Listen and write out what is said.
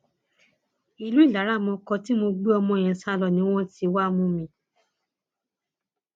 ìlú ìlaramọkọ tí mo gbé ọmọ yẹn sá lọ ni wọn ti wáá mú mi